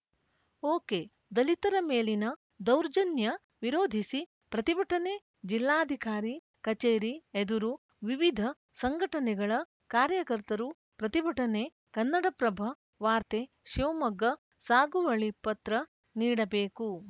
ಓಕೆದಲಿತರ ಮೇಲಿನ ದೌರ್ಜನ್ಯ ವಿರೋಧಿಸಿ ಪ್ರತಿಭಟನೆ ಜಿಲ್ಲಾಧಿಕಾರಿ ಕಚೇರಿ ಎದುರು ವಿವಿಧ ಸಂಘಟನೆಗಳ ಕಾರ್ಯಕರ್ತರು ಪ್ರತಿಭಟನೆ ಕನ್ನಡಪ್ರಭ ವಾರ್ತೆ ಶಿವಮೊಗ್ಗ ಸಾಗುವಳಿ ಪತ್ರ ನೀಡಬೇಕು